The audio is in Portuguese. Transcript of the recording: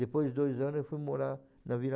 Depois de dois anos eu fui morar na Vila